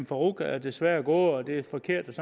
farooq er desværre gået og det er forkert